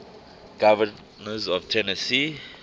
governors of tennessee